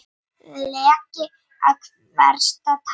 Leki af versta tagi